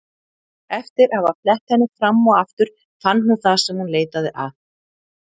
Eftir að hafa flett henni fram og aftur fann hún það sem hún leitaði að.